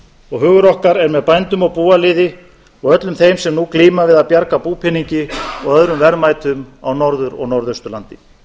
og hugur okkar er með bændum og búaliði og öllum þeim sem nú glíma við að bjarga búpeningi og öðrum verðmætum á norður og norðausturlandi